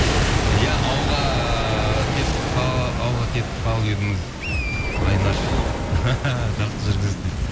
иә ауылға кетіп қалып едіңіз айнаш жақсы жүргізесіз дейді